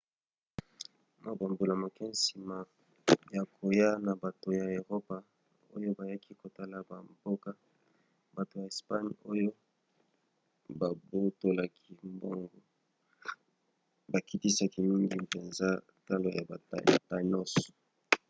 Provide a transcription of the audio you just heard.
mwa bambula moke nsima ya koya ya bato ya eropa oyo bayaki kotala bamboka bato ya espagne oyo babotolaki mbongo bakitisaki mingi mpenza talo ya ba tainos